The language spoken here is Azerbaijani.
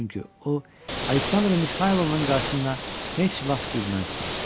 çünki o Aleksandr Mixaylovnanın qarşısında heç vaxt gülməzdi.